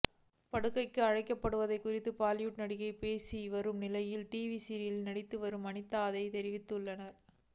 படுக்கைக்கு அழைக்கப்படுவது குறித்து பாலிவுட் நடிகைகள் பேசி வரும் நிலையில் டிவி சீரியல்களில் நடித்து வரும் அனிதாவும் அதையே தெரிவித்துள்ளார்